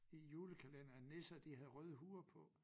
I julekalenderen nisser de havde røde huer på